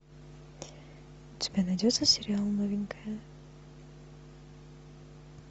у тебя найдется сериал новенькая